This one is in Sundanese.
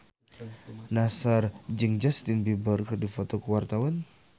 Nassar jeung Justin Beiber keur dipoto ku wartawan